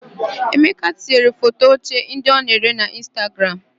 Emeka tinyere foto oche ndị ọ na-ere na Ịnstagram.